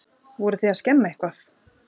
Voruð þið að skemma eitthvað?